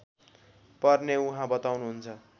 पर्ने उहाँ बताउनुहुन्छ